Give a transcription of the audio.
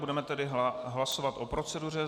Budeme tedy hlasovat o proceduře.